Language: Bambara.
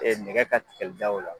Ee nɛgɛ ka Tigɛlidaw la